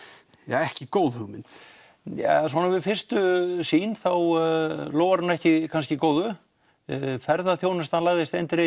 ekki góð hugmynd svona við fyrstu sýn þá lofar hún ekki góðu ferðaþjónustan lagðist eindregið